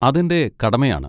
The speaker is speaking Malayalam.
അതെന്റെ കടമയാണ്.